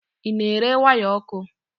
Ị na-ere waya ọkụ?